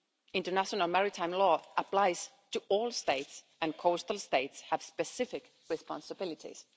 International Maritime Law applies to all States, and coastal States have specific responsibilities.